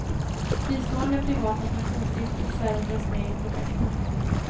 Fristående privata pensionsstiftelser dras med i projekten.